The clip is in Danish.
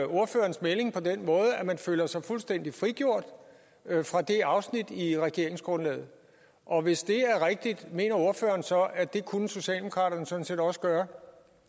ordførerens melding på den måde at man føler sig fuldstændig frigjort fra det afsnit i regeringsgrundlaget og hvis det er rigtigt mener ordføreren så at det kunne socialdemokraterne sådan set også gøre